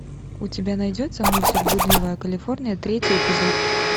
у тебя найдется мультик блудливая калифорния третий эпизод